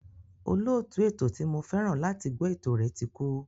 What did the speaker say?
Olóòtú ètò ti mo fẹ́ràn láti gbọ́ ètò rẹ̀ ti kú.